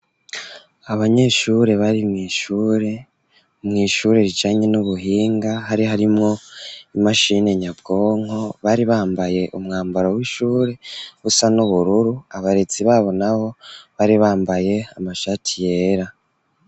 Abanyeshure, bari mw'ishure, mw'ishure rijanye, n'ubuhinga; hari harimwo, imashini nyabwonko, bari bambaye, umwambaro w'ishure, usa n'ubururu; abarezi babo nabo, bari bambaye, amashati yera.